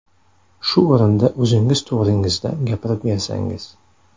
Shu o‘rinda o‘zingiz to‘g‘ringizda gapirib bersangiz?